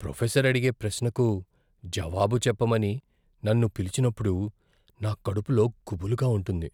Professor అడిగే ప్రశ్నకు జవాబు చెప్పమని నన్ను పిలిచినప్పుడు నా కడుపులో గుబులుగా ఉంటుంది.